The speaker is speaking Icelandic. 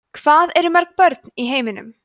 hvað eru mörg börn í heiminum